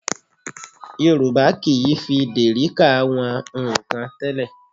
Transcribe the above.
Yorùbá kì í fi dèríkà wọn nnkan tẹ́lẹ̀